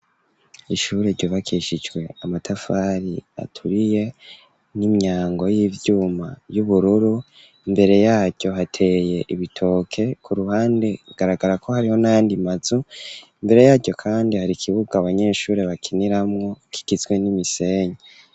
Ishuri ryubakishijwe amatafari aturiye n'imyango y'ivyuma y'ubururu, imbere yaryo hateye ibitoke ku ruhande hagaragara ko hariho n'ayandi mazu, imbere yaryo kandi hari ikibuga abanyeshuri bakiniramwo kigizwe n'imisenyi.